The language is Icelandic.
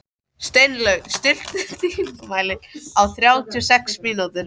Steinlaug, stilltu tímamælinn á þrjátíu og sex mínútur.